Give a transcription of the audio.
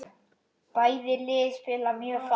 Bæði lið spila mjög fast.